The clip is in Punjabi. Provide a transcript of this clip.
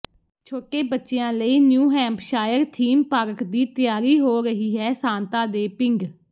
ਛੋਟੇ ਬੱਚਿਆਂ ਲਈ ਨਿਊ ਹੈਂਪਸ਼ਾਇਰ ਥੀਮ ਪਾਰਕ ਦੀ ਤਿਆਰੀ ਹੋ ਰਹੀ ਹੈ ਸਾਂਤਾ ਦੇ ਪਿੰਡ